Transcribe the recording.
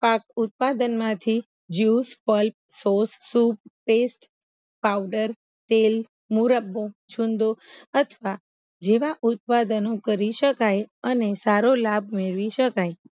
પાક ઉત્પાદનમાંથી જ્યુસ સ્કોલ્પ સોસ સૂપ પેસ્ટ પાવડર તેલ મુરબ્બો છુંદો અથવા જેવા ઉત્પાદનો કરી સકાય અને સારો લાભ મેળવી સકાય